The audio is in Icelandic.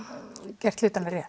gert hlutina rétt